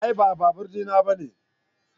A'a ba babur di na bane.